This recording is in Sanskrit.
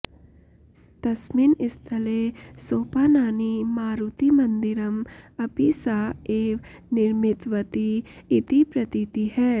तस्मिन् स्थले सोपानानि मारुतिमन्दिरम् अपि सा एव निर्मितवती इति प्रतीतिः